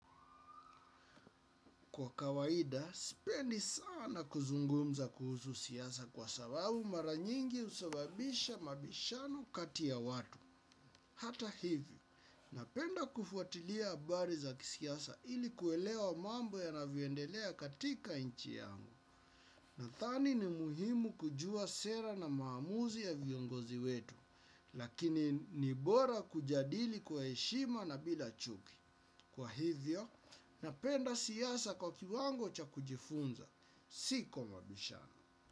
Kwa kawaida, sipendi sana kuzungumza kuhusu siasa kwa sababu mara nyingi husababisha mabishano kati ya watu. Hata hivyo, napenda kufuatilia habari za kisiyasa ili kuelewa mambo yanavyoendelea katika nchi yangu. Nadhani ni muhimu kujua sera na maamuzi ya viongozi wetu, lakini ni bora kujadili kwa heshima na bila chuki. Kwa hivyo, napenda siyasa kwa kiwango cha kujifunza. Si kwa mabishano.